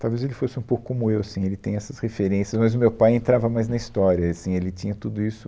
Talvez ele fosse um pouco como eu, assim, ele tem essas referências, mas o meu pai entrava mais na história, e assim, ele tinha tudo isso.